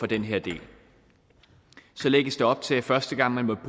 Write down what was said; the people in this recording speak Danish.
den her del så lægges der op til at første gang man